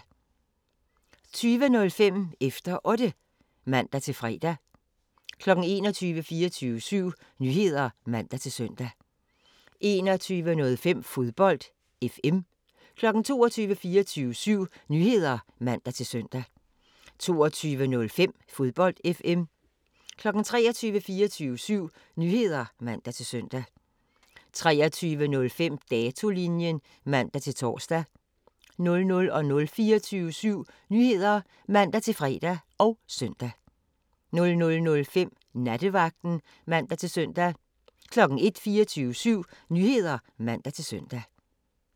20:05: Efter Otte (man-fre) 21:00: 24syv Nyheder (man-søn) 21:05: Fodbold FM 22:00: 24syv Nyheder (man-søn) 22:05: Fodbold FM 23:00: 24syv Nyheder (man-søn) 23:05: Datolinjen (man-tor) 00:00: 24syv Nyheder (man-fre og søn) 00:05: Nattevagten (man-søn) 01:00: 24syv Nyheder (man-søn)